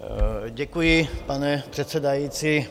Děkuji, pane předsedající.